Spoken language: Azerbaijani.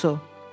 Monksu.